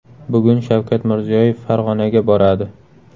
Bugun Shavkat Mirziyoyev Farg‘onaga boradi.